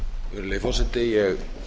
virðulegi forseti ég